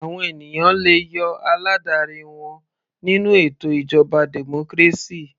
Àwọn ènìyàn le yọ aládarí wọn nínú ètò ìjọba democracy.